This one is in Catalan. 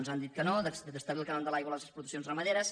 ens han dit que no d’establir el cànon de l’aigua a les explotacions ramaderes